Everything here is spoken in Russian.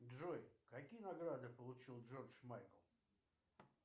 джой какие награды получил джордж майкл